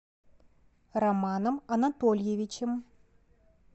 романом анатольевичем